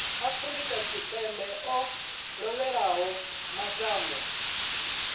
afrika tshipembe o lovhelaho mashango